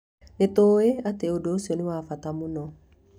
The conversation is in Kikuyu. Nĩ tũĩ atĩ ũndũ ũcio nĩ wa bata mũno.